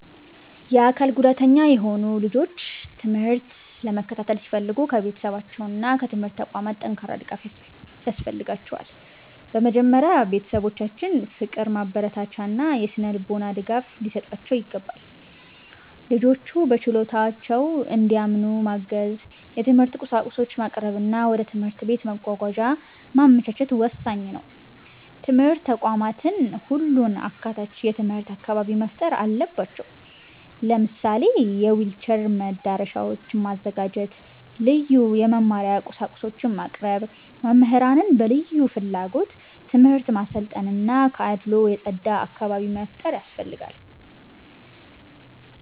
የአካል ጉዳተኛ የሆኑ ልጆች ትምህርት ለመከታተል ሲፈልጉ ከቤተሰባቸውና ከትምህርት ተቋማት ጠንካራ ድጋፍ ያስፈልጋቸዋል። በመጀመሪያ ቤተሰቦቻቸው ፍቅር፣ ማበረታቻ እና የሥነ-ልቦና ድጋፍ ሊሰጧቸው ይገባል። ልጆቹ በችሎታቸው እንዲያምኑ ማገዝ፣ የትምህርት ቁሳቁሶችን ማቅረብ እና ወደ ትምህርት ቤት መጓጓዣ ማመቻቸት ወሳኝ ነው። ትምህርት ተቋማትም ሁሉን አካታች የትምህርት አካባቢ መፍጠር አለባቸው። ለምሳሌ የዊልቸር መዳረሻዎችን ማዘጋጀት፣ ልዩ የመማሪያ ቁሳቁሶችን ማቅረብ፣ መምህራንን በልዩ ፍላጎት ትምህርት ማሰልጠን እና ከአድልዎ የጸዳ አካባቢ መፍጠር ያስፈልጋል።